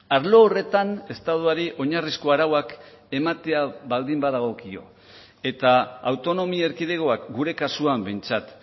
arlo horretan estatuari oinarrizko arauak ematea baldin badagokio eta autonomi erkidegoak gure kasuan behintzat